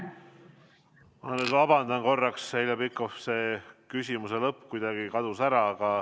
Ma vabandan, Heljo Pikhof, küsimuse lõpp kadus kuidagi ära.